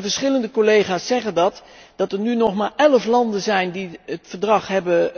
Verschillende collega's zeggen dat, dat er nu nog maar elf landen zijn die het verdrag hebben